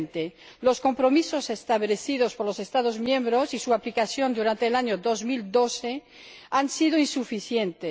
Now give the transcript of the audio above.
2020. Los compromisos establecidos por los Estados miembros y su aplicación durante el año 2012 han sido insuficientes.